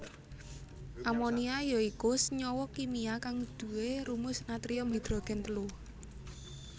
Amonia ya iku senyawa kimia kang duwé rumus natrium hidrogen telu